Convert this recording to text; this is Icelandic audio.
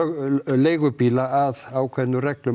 leigubíla að ákveðnum reglum